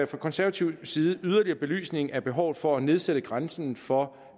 fra konservativ side yderligere belysning af behovet for at nedsætte grænsen for